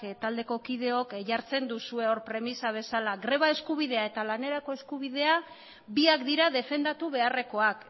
taldeko kideok jartzen duzue premisa bezala greba eskubidea eta lanerako eskubidea biak dira defendatu beharrekoak